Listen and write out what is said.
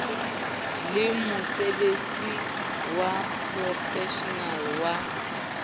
le mosebetsi wa profeshenale wa